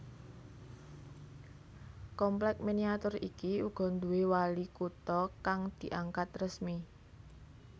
Komplèk miniatur iki uga nduwé wali kutha kang diangkat resmi